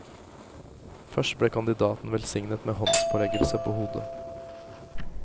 Først ble kandidaten velsignet med håndspåleggelse på hodet.